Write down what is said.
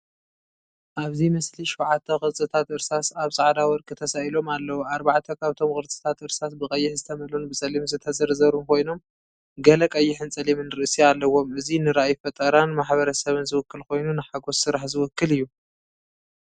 ኣብዚ ምስሊ ሸውዓተ ቅርጽታት እርሳስ ኣብ ጻዕዳ ወርቂ ተሳኢሎም ኣለዉ። ኣርባዕተ ካብቶም ቅርጽታት እርሳስ ብቐይሕ ዝተመልኡን ብጸሊም ዝተዘርዘሩን ኮይኖም ገለ ቀይሕን ጸሊምን ርእሲ ኣለዎም። እዚ ንራእይ ፈጠራን ማሕበረሰብን ዝውክል ኮይኑ፡ ንሓጎስ ስራሕ ዝውክል እዩ።